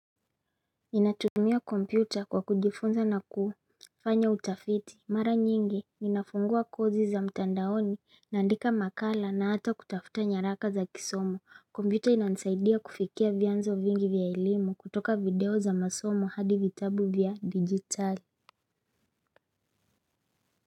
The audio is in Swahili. Ninatumia kompyuta kwa kujifunza na kufanya utafiti mara nyingi ninafungua kozi za mtandaoni naandika makala na hata kutafuta nyaraka za kisomo kompyuta inanisaidia kufikia vyanzo vingi vya elimu kutoka video za masomo hadi vitabu vya digitali.